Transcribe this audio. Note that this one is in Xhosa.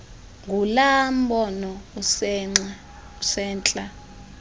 ngulaa mbono usentla